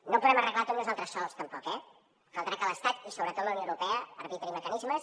no ho podem arreglar tot nosaltres sols tampoc eh caldrà que l’estat i sobretot la unió europea arbitrin mecanismes